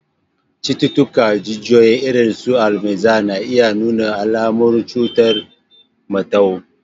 Cututtukan jijiyoyi, irin su Alzheimer's, na iya nuna alamun kamar cutar mantau